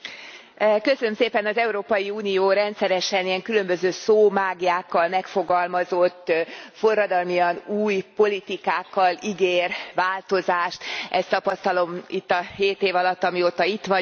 Elnök Asszony! Az Európai Unió rendszeresen ilyen különböző szómáglyákkal megfogalmazott, forradalmian új politikákkal ígér változást, ezt tapasztalom itt a hét év alatt, mióta itt vagyok.